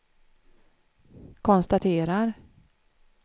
konstaterar